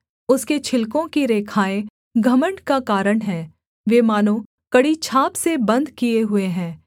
उसके छिलकों की रेखाएँ घमण्ड का कारण हैं वे मानो कड़ी छाप से बन्द किए हुए हैं